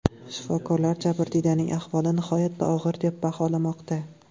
Shifokorlar jabrdiydaning ahvoli nihoyatda og‘ir deb baholamoqda.